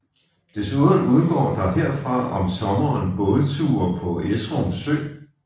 Desuden udgår der herfra om sommeren bådture på Esrum Sø